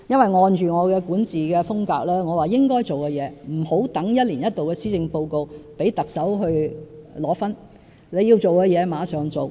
按照我的管治風格，我認為該做的事不應留待一年一度的施政報告才做，讓特首領功，而應立即做。